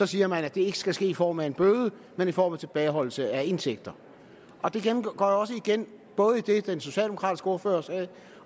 siger man at det ikke skal ske i form af en bøde men i form af tilbageholdelse af indtægter det går også igen både i det den socialdemokratiske ordfører sagde